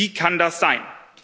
Wie kann das sein?